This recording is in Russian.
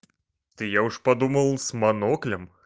то я уж подумал с моноклем